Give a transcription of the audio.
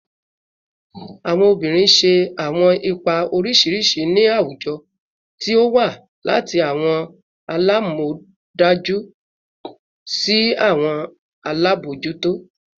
Awọn obinrin ṣe awọn ipa oriṣiriṣi ni awujọ, ti o wa lati awọn alamọdaju si awọn alabojuto